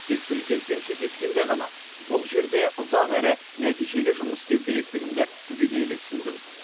тек президентпен кездескенде ғана бұл жерде ұзақ әрі нәтижелі жұмыс істеу керектігімді түбегейлі түсіндім